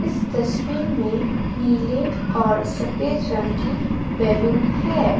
इस तस्वीर में नील और सफेद रंग की बैलून है।